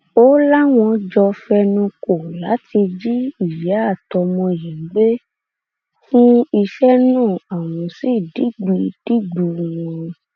ó láwọn jọ fẹnukọ láti jí ìyá àtọmọ yìí gbé fún iṣẹ náà àwọn sì dìgbù dìgbù wọn